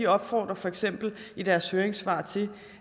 opfordrer for eksempel i deres høringssvar til